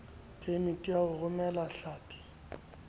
phemiti ya ho romela hlapi